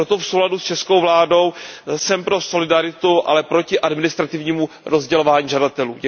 Proto v souladu s českou vládou jsem pro solidaritu, ale proti administrativnímu rozdělování žadatelů.